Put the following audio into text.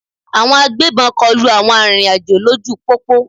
Àwọn agbébọn kọlu àwọn arìnrìn-àjò lójú pópó.